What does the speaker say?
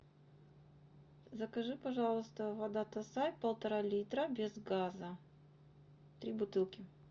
закажи пожалуйста вода тассай полтора литра без газа три бутылки